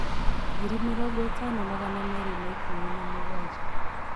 ngiri mĩrongo ĩtano magana merĩ ma ikumi na mũgwanja